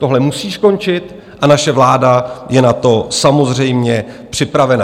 Tohle musí skončit a naše vláda je na to samozřejmě připravena.